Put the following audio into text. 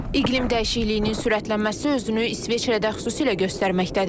İqlim dəyişikliyinin sürətlənməsi özünü İsveçrədə xüsusilə göstərməkdədir.